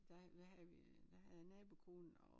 Der hvad havde vi der havde jeg nabokonen og